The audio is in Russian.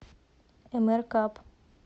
эмэркап